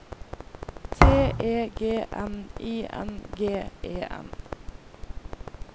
T E G N I N G E N